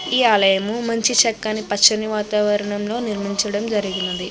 ఈ ఆలయము మంచి చక్కని పచ్చని వాతావరణంలో నిర్మించడం జరిగినది.